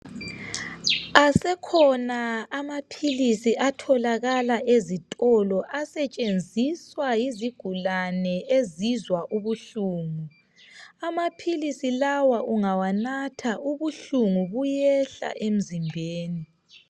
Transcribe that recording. Asekhona amaphilizi atholakala ezitolo asetshenziswa yizigulani ezizwa ubuhlungu, amaphilisi lawa ungawanatha ubuhlungu buyehla emzimbeni.